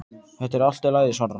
Þetta er allt í lagi, svarar hann.